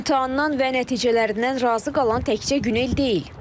İmtahandan və nəticələrindən razı qalan təkcə Günel deyil.